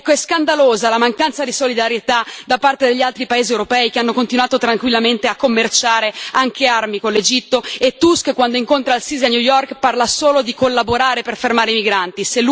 Ecco, è scandalosa la mancanza di solidarietà da parte degli altri paesi europei che hanno continuato tranquillamente a commerciare, anche armi, con l'Egitto e Tusk, quando incontra al Sisi a New York, parla solo di collaborare per fermare i migranti.